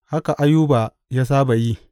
Haka Ayuba ya saba yi.